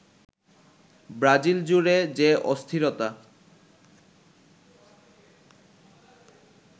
Brazil জুড়ে যে অস্থিরতা